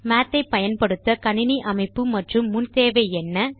மாத் ஐ பயன்படுத்த கணினி அமைப்பு மற்றும் முன் தேவை என்ன